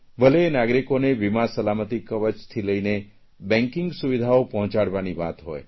ભલે એ નાગરિકોને વીમા સલામતિ કવચથી લઇને બેંકિંગ સુવિધાઓ પહોંચાડવાની વાત હોય